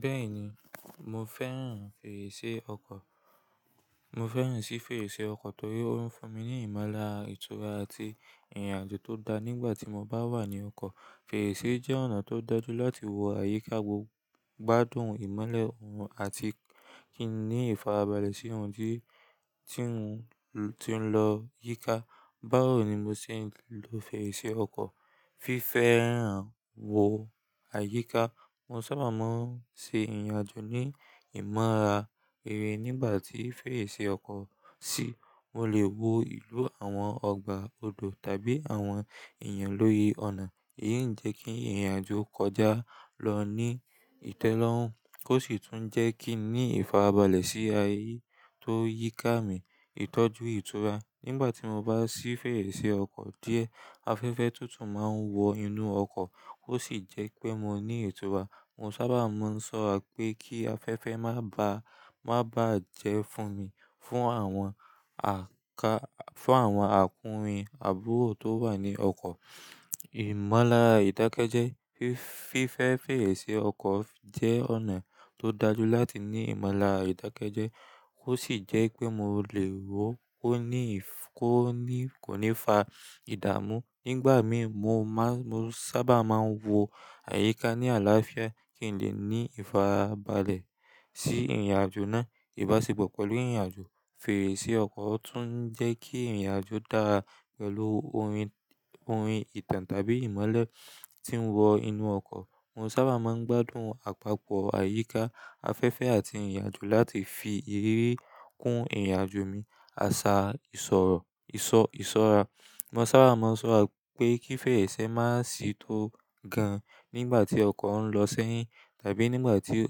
Bẹ́ẹ̀ni, mo fẹ́ràn fèrèsé ọkọ̀. Mo fẹ́ràn sí fèrèsé ọkọ̀ torí ó ń fún mi ní ìmọ̀lára, ìtura àti ìrìnàjò tó dáa nígbà tí mo bá wà ní ọkọ̀. Fèrèsé jẹ́ ọ̀nà tó dọdú láti wo àyíká gbogbo, gbádùn ìmọ́lẹ̀ òòrùn àti kí n ní ìfarabalẹ̀ sí ohùn tí, tí ń, tí ń lọ yíká. Báwo ni mo ṣe ń lo fèrèsé ọkọ̀? Fífẹ́ hàn wo àyíká, mo sábà máa ń ṣe ìrìnàjò ní ìmọ̀lára rere nígbà tí fèrèsé ọkọ̀ sí. Mo lè wo ìlú àwọn ọgbà ọdọ̀ tàbí àwọn èèyàn lórí ọ̀nà. Èyí ń jẹ́ kí ìrìnàjò kọjá lọ ní ìtẹ́lọ́rùn, kó sì tún jẹ́ kí n ní ìfarabalẹ̀ sí ayé tó yíká mi. Ìtọ́jú ìtura, nígbà tí mo bá sí fèrèsé ọkọ̀ díẹ̀, afẹ́fẹ́ tuntun máa ń wọ inú ọkọ̀, ó sì jẹ́ pé mo ní ìtura. Mo sábà máa ń ṣọra pé kí afẹ́fẹ́ má bá, má bá jẹ fún mi, fún àwọn àká, fún àwọn àkúnrin àbúrò tó wà ní ọkọ̀. Ìmọ̀lára ìdákẹ́jẹ́, fi-fífẹ́ fèrèsé ọkọ̀ jẹ́ ọ̀nà tó dájú láti ní ìmọ̀lára ìdákẹ́jẹ́, ó sì jẹ́ pé mo lè wò ó ní ìf-- kó ní, kò ní fa ìdààmú. Nígbà mí mo má-- mo sábà máa ń wo àyíká ní àlàáfíà kí n lè ní ìfarabalẹ̀ sí ìrìnàjò náà. Ìbáṣepọ̀ pẹ̀lú ìrìnàjò, fèrèsé ọkọ̀ tún jẹ́ kí ìrìnàjò dára pẹ̀lú orin, orin ìtàn tàbí ìmọ́lẹ̀ tí ń wọ inú ọkọ̀. Mo sábà máa ń gbádùn àpapọ̀ àyíká afẹ́fẹ́ àti ìrìnàjò láti fi iriri kún ìrìnàjò mi. Àṣà ìsọ̀rọ̀, ìsọ, ìsọra, mo sábà máa ń ṣọra pé kí fèrèsé má sì tó gan nígbà tí ọkọ̀ ń lọ ṣẹ́yìn tàbí nígbà tí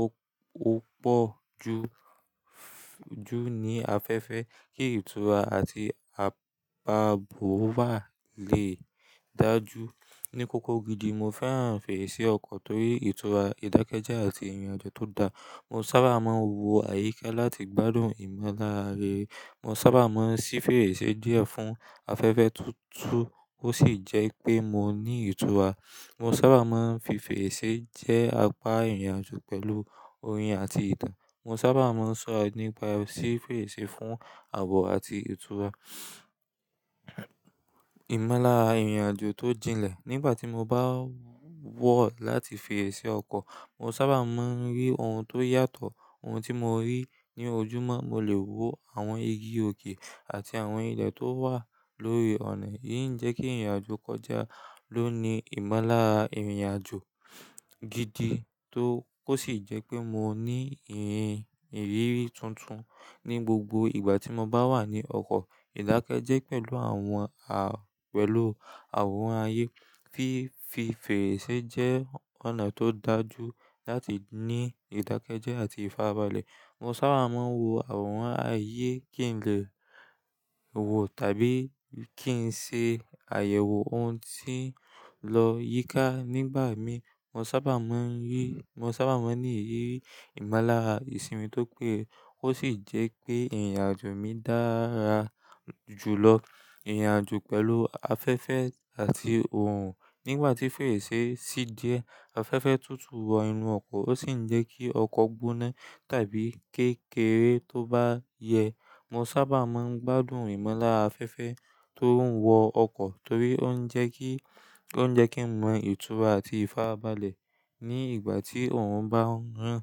ó, ó pọ̀ ju, ju ní afẹ́fẹ́ kí ìtura àti àpá àbò wa lè dájú. Ni kókó gidi mo fẹ́ràn fèrèsé ọkọ̀ torí ìtura, ìdákẹ́jẹ́ àti ìrìnàjò tó dáa. Mo sábà máa ń wo àyíká láti gbádùn ìmọ̀lára rere. Mo sábà máa ń ṣí fèrèsé díẹ̀ fún afẹ́fẹ́ tuntun ó sì jẹ́ pé mo ní ìtura. Mo sábà máa ń fi fèrèsé jẹ́ apá ìrìnàjò pẹ̀lú orin àti ìtàn. Mo sábà máa ń ṣọra nípa ṣí fèrèsé fún ààbò àti ìtura. Ìmọ̀lára ìrìnàjò tó jìnlẹ̀, nígbà tí mo bá wọ̀ láti fèrèsé ọkọ̀, mo sábà máa ń rí ohun tó yàtọ̀. Ohun tí mo rí ní ojúmọ́, mo lè wo àwọn igi òkè àti àwọn ilẹ̀ tó wà lórí ọ̀nà. Èyí ń jẹ́ kí ìrìnàjò kọjá ló ní ìmọ̀lára ìrìnàjò gidi tó kó sì jẹ́ pé mo ní ìhìn, ìrírí tuntun ní gbogbo ìgbà tí mo bá wà ní ọkọ̀. Ìdákẹ́jẹ́ pẹ̀lú àwọn a-- pẹ̀lú àwọn ayé, fi, fi fèrèsé jẹ́ ọ̀nà tó dájú láti ní ìdákẹ́jẹ́ àti ìfarabalẹ̀. Mo sábà máa ń wo àwọn ayé kí n lè wò tàbí kí n ṣe àyẹ̀wò ohun tí ń lọ yíká nígbà mí. Mo sábà máa ń rí, mo sábà máa ń ní ìrírí ìmọ̀lára ìsinmi tó péye kó sì jẹ́ pé ìrìnàjò mi dára jùlọ. Ìrìnàjò pẹ̀lú afẹ́fẹ́ àti òòrùn, nígbà tí fèrèsé sì díẹ̀, afẹ́fẹ́ tuntun wọ inú ọkọ̀ ó sì ń jẹ́ kí ọkọ̀ gbóná tàbí kékeré tó bá yẹ. Mo sábà máa ń gbádùn ìmọ̀lára afẹ́fẹ́ tó ń wọ ọkọ̀ torí ó ń jẹ́ kí, ó ń jẹ́ kí n mọ ìtura àti ìfarabalẹ̀ ní ìgbà tí òòrùn bá ń rán.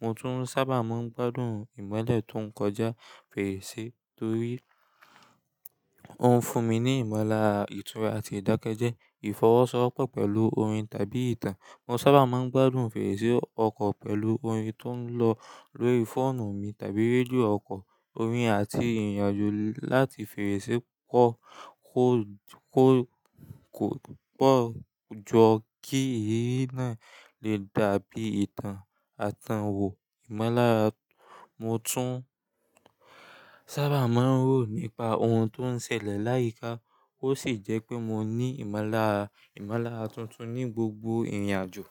Mo tún sábà máa ń gbádùn ìmọ́lẹ̀ tó ń kọjá fèrèsé torí ó ń fún mi ní ìmọ̀lára ìtura àti ìdákẹ́jẹ́. Ìfọwọ́sowọ́pọ̀ pẹ̀lú orin tàbí ìtàn, mo sábà máa ń gbádùn fèrèsé ọkọ̀ pẹ̀lú orin tó ń lọ lórí fóònù mi tàbí rédíò ọkọ̀. Orin àti ìrìnàjò láti fèrèsé kọ́ kò, kò pọ̀ ju kí èérí náà lè dàbí ìtàn atan wò. Ìmọ̀lára, mo tún sábà máa ń rò nípa ohun tó ń ṣẹlẹ̀ láyìíká ó sì jẹ́ pé mo ní ìmọ̀lára, ìmọ̀lára tuntun ní gbogbo ìrìnàjò.